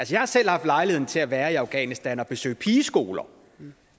jeg har selv haft lejlighed til at være i afghanistan og besøge pigeskoler